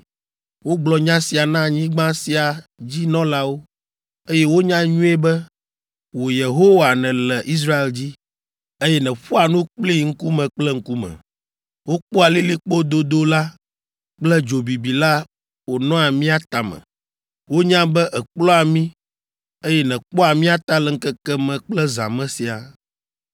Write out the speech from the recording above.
Wogblɔ nya sia na anyigba sia dzi nɔlawo, eye wonya nyuie be, wò Yehowa nèle Israel dzi, eye nèƒoa nu kplii ŋkume kple ŋkume. Wokpɔa lilikpo dodo la kple dzo bibi la wonɔa mía tame. Wonya be èkplɔa mí, eye nèkpɔa mía ta le ŋkeke me kple zã me siaa.